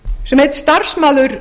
sem einn starfsmaður